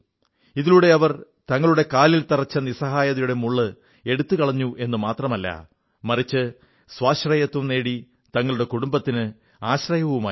ഇതിലൂടെ ഇവർ തങ്ങളുടെ കാലിൽ തറച്ച നിസ്സഹായതയുടെ മുള്ള് എടുത്തുകളഞ്ഞുവെന്നു മാത്രമല്ല മറിച്ച് സ്വാശ്രയത്വം നേടി തങ്ങളുടെ കുടുംബത്തിന് ആശ്രയവുമായി മാറി